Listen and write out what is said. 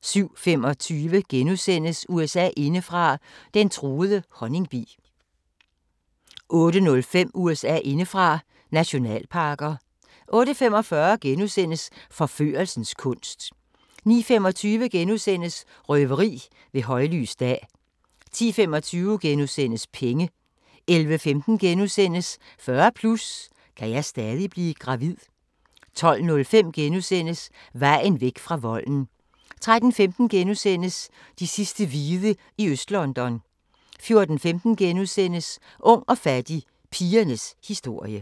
07:25: USA indefra: Den truede honningbi * 08:05: USA indefra: Nationalparker 08:45: Forførelsens kunst * 09:25: Røveri ved højlys dag * 10:25: Penge * 11:15: 40+ – kan jeg stadig blive gravid? * 12:05: Vejen væk fra volden * 13:15: De sidste hvide i Øst-London * 14:15: Ung og fattig – pigernes historie *